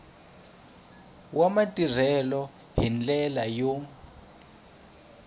wa matirhelo hi ndlela yo